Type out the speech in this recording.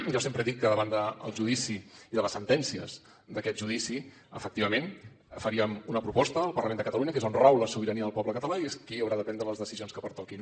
jo sempre he dit que davant del judici i de les sentències d’aquest judici efectivament faríem una proposta al parlament de catalunya que és on rau la sobirania del poble català i és qui haurà de prendre les qüestions que pertoquin